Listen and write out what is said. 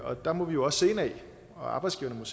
og der må vi jo også se indad og arbejdsgiverne og